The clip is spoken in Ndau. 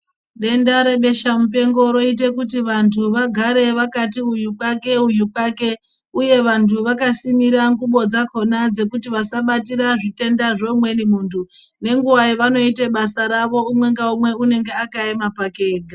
Denda rebesha mupengo roita kuti vantu vagare vakati uyu kwake uyu kwake uye vantu vakasimira ngubo dzakona dzekuti vasabatira zvitenda zveumweni muntu ngenguwo yavanoita basa ravo umwe naumwe anenge akaema pake ega.